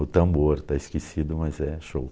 O Tambor, está esquecido, mas é show.